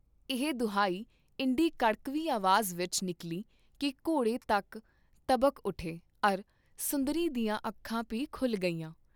ਇਹ ਦੁਹਾਈ ਇੰਡੀ ਕੜਕਵੀਂ ਆਵਾਜ਼ ਵਿਚ ਨਿਕਲੀ ਕੀ ਘੋੜੇ ਤੱਕ ਤਬਕ ਉਠੇ ਅਰ ਸੁੰਦਰੀ ਦੀਆਂ ਅੱਖਾਂ ਭੀ ਖੁਲ੍ਹ ਗਈਆਂ।